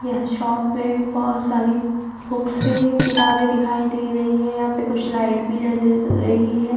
यहा शॉप में भी बहुत सारी बुक्स किताबे दिखाई दे रही है यहा पे कुछ लाइट भी जल रही है।